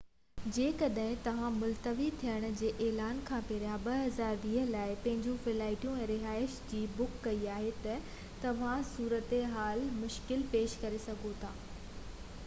جيڪڏهن توهان ملتوي ٿيڻ جي اعلان کان پهريان 2020 لاءِ پنهنجيون فلائيٽون ۽ رهائش جي بُڪ ڪئي آهي ته توهان جي صورتحال مشڪل ٿي سگهي ٿي